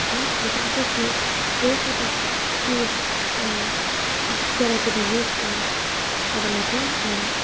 we can also see various type of tools uh there are to be used in for the metal and--